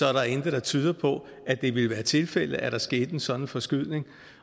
er der intet der tyder på at det ville være tilfældet at der sker en sådan forskydning